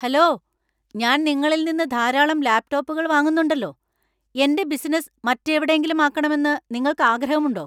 Hello, ഞാൻ നിങ്ങളിൽ നിന്ന് ധാരാളം ലാപ്ടോപ്പുകൾ വാങ്ങുന്നുണ്ടല്ലോ. എന്‍റെ ബിസിനസ്സ് മറ്റെവിടെയെങ്കിലും ആക്കണെമന്ന് നിങ്ങൾക്ക് ആഗ്രഹമുണ്ടോ?